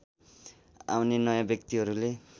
आउने नयाँ व्यक्तिहरूले